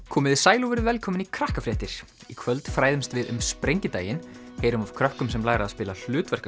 komiði sæl og verið velkomin í Krakkafréttir í kvöld fræðumst við um sprengidaginn heyrum af krökkum sem læra að spila